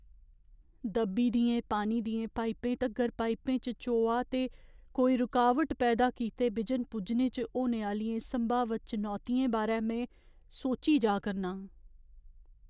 दब्बी दियें पानी दियें पाइपें तगर पाइपें च चोआ ते कोई रुकावट पैदा कीते बिजन पुज्जने च होने आह्लियें संभावत चनौतियें बारै में सोची जा करनां।